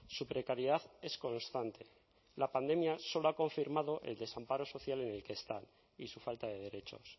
su precariedad es constante la pandemia solo ha confirmado el desamparo social en el que está y su falta de derechos